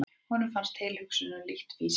Honum fannst tilhugsunin lítt fýsileg.